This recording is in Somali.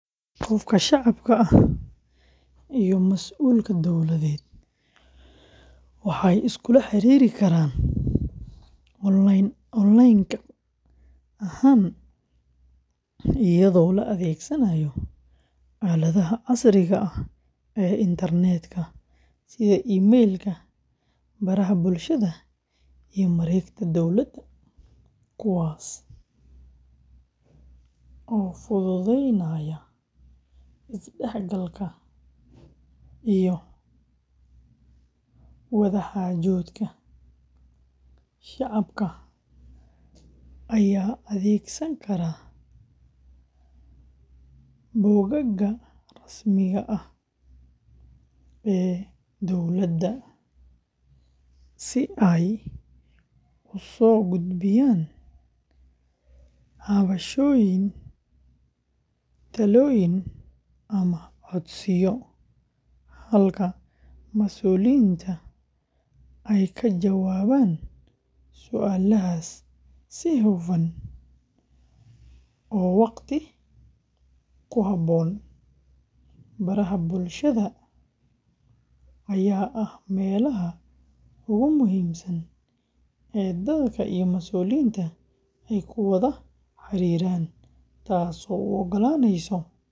Qofka shacabka ah iyo masuulka dowladeed waxay iskula xiriiri karaan online-ka ahaan iyadoo la adeegsanayo aaladaha casriga ah ee internetka sida email-ka, baraha bulshada, iyo mareegaha dowladda, kuwaas oo fududeynaya is-dhexgalka iyo wada-xaajoodka. Shacabka ayaa adeegsan kara bogagga rasmiga ah ee dowladda si ay u soo gudbiyaan cabashooyin, talooyin, ama codsiyo, halka masuuliyiinta ay ka jawaabaan su’aalahaas si hufan oo waqti ku habboon. Baraha bulshada, ayaa ah meelaha ugu muhiimsan ee dadka iyo masuuliyiinta ay ku wada xiriiraan, taasoo u oggolaanaysa.